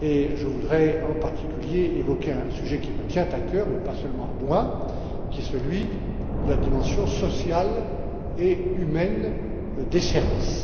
Je voudrais, en particulier, évoquer un sujet qui me tient à cœur et pas seulement à moi qui est celui de la dimension sociale et humaine des services.